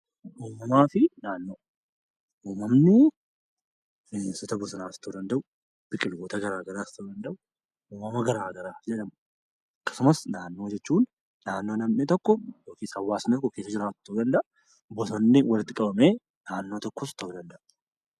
Uumamni bineensota bosonaas ta'uu danda'u biqiloota garaagaraas ta'uu danda'u uumamaawwan garaagaraa ta'uu danda'u. Akkasumas naannoo jechuun bakka hawaasni tokko keessa jiraatu ta'uu danda'a bosonni walitti qabamees naannoo tokko ta'uu danda'a.